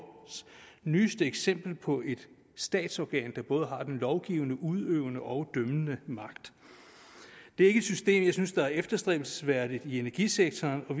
nyeste eksempel på et statsorgan der både har den lovgivende udøvende og dømmende magt det er ikke et system jeg synes er efterstræbelsesværdigt i energisektoren og